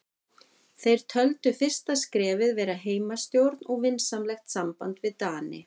Þeir töldu fyrsta skrefið vera heimastjórn og vinsamlegt samband við Dani.